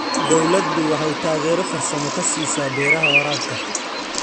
Dawladdu waxay taageero farsamo ka siisaa beeraha waraabka.